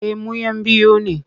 Eh mu'yan biyu ne.